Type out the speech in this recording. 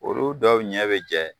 Olu dɔw ɲɛ be jɛ